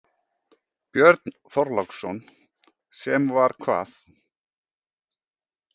Björn Þorláksson: Sem var hvað?